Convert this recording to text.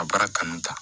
A baara kanu ta